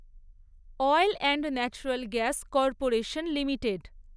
oil and natural gas corporation limited